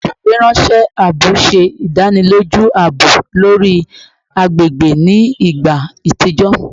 Ifiweranṣẹ aabo ṣe idaniloju aabo lori agbegbe ni igba atijọ